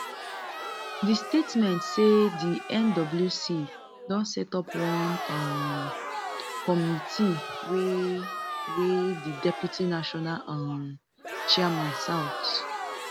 di statement say di nwc don set up one um committee wey wey di deputy national um chairman south